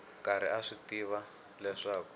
karhi a swi tiva leswaku